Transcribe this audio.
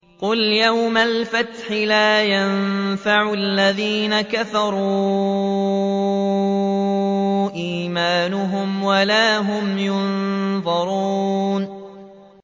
قُلْ يَوْمَ الْفَتْحِ لَا يَنفَعُ الَّذِينَ كَفَرُوا إِيمَانُهُمْ وَلَا هُمْ يُنظَرُونَ